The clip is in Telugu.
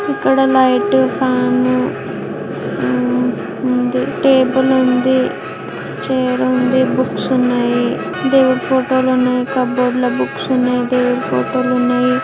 ఇక్కడ లైట్ ఫ్యాన్ ఉ ఉంది. టేబుల్ ఉంది. చేర్ ఉంది. బుక్స్ ఉన్నాయి దేవుని ఫోటో లు ఉన్నాయి. కబోర్డ్ లో బుక్స్ ఉన్నాయి. దేవుని ఫోటో లు ఉన్నాయి.